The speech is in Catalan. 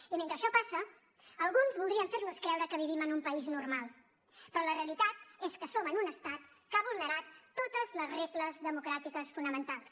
i mentre això passa alguns voldrien fer nos creure que vivim en un país normal però la realitat és que som en un estat que ha vulnerat totes les regles democràtiques fonamentals